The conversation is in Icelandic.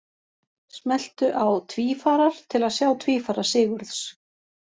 Smelltu á Tvífarar til að sjá tvífara Sigurðs.